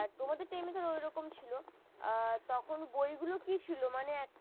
তোমাদের time ধরো ওরকম ছিল আর বইগুলো কি ছিল মানে